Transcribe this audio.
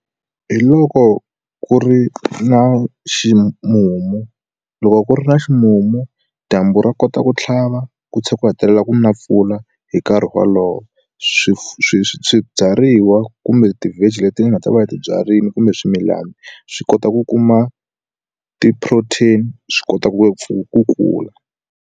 Hi loko ku ri na ximumu loko ku ri na ximumu dyambu ro kota ku tlhava ku tsha ku hetelela ku na mpfula hi nkarhi wolowo swi swi swibyariwa kumbe ti veggie leti hi nga ta va yi tibyarile kumbe swimilana swi kota ku kuma ti protein swi kota ku ngopfu ku kula.